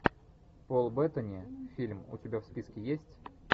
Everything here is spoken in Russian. пол беттани фильм у тебя в списке есть